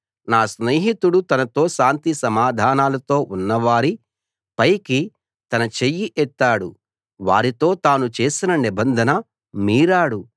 నా స్నేహితుడు తనతో శాంతి సమాధానాలతో ఉన్నవారి పైకి తన చెయ్యి ఎత్తాడు వారితో తాను చేసిన నిబంధన మీరాడు